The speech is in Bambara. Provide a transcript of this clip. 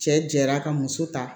Cɛ jɛra ka muso ta